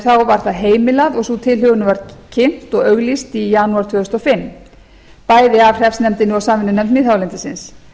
þá var það heimilað og sú tilhögun var kynnt og auglýst í janúar tvö þúsund og fimm bæði af hreppsnefndinni og samvinnunefnd miðhálendisins